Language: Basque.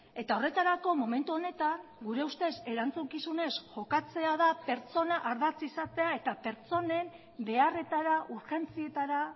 eta horretarako momentu honetan gure ustez erantzukizunez jokatzea da pertsona ardatz izatea eta pertsonen beharretara urgentzietara